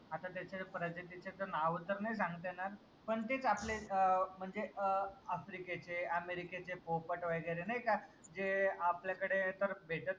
आता त्याच्या प्रजातीचे त नाव तर नाही सांगता येनार पन तेच आपले अं म्हनजे अं आफ्रिकेचे, अमेरिकेचे पोपट वगैरे नाई का जे आपल्याकडे